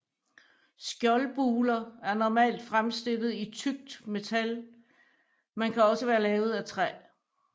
Skjoldbuler er normalt fremstillet i tykt metal men kan også være lavet af træ